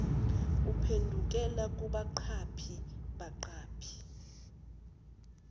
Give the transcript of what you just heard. uphendukela kubaqaphi baqaphi